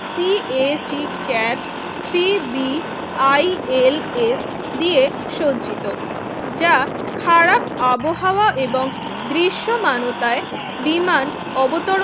CAT CAT three B ILS দিয়ে সজ্জিত যা খারাপ আবহাওয়া এবং দৃশ্যমানোতায় বিমান অবতরণ